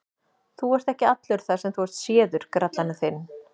Þú ert ekki allur þar sem þú ert séður, grallarinn þinn!